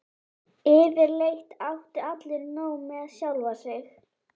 Yfirleitt áttu allir nóg með sjálfa sig.